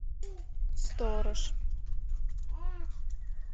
сторож